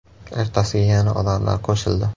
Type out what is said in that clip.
Ertasiga yana odamlar qo‘shildi.